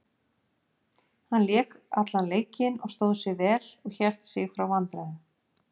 Hann lék allan leikinn og stóð sig vel og hélt sig frá vandræðum.